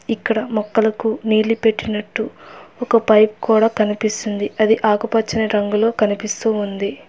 ఇక్కడ మొక్కలకు నీళ్లు పెట్టినట్టు ఒక పైపు కూడా కనిపిస్తుంది అది ఆకుపచ్చని రంగులో కనిపిస్తూ ఉంది.